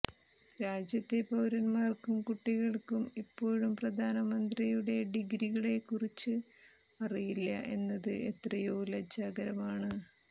രാജ്യത്തെ പൌരൻമാര്ക്കും കുട്ടികള്ക്കും ഇപ്പോഴും പ്രധാനമന്ത്രിയുടെ ഡിഗ്രികളെക്കുറിച്ച് അറിയില്ല എന്നത് എത്രയോ ലജ്ജാകരമാണ്